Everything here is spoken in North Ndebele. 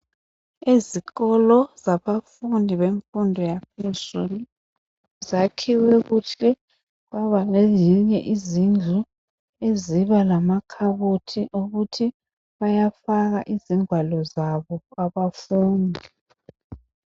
Ezikolo zabafundi bemfundo yaphezulu zakhiwe kuhle kwaba lezinye izindlu ezilamakhabothi ukuthi bayafaka izingwalo zabo abafundi.